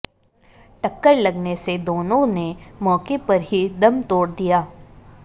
टक्कर लगने से दोनों ने मौके पर ही दम तोड़ दिया